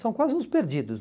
São quase uns perdidos.